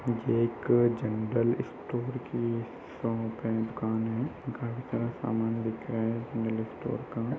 ये एक general store की शॉप है। दुकान है। काफी सारा सामान बिक रहा है जनरल स्टोर का।